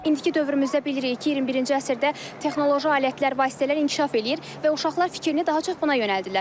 İndiki dövrümüzdə bilirik ki, 21-ci əsrdə texnoloji alətlər, vasitələr inkişaf eləyir və uşaqlar fikrini daha çox buna yönəldirlər.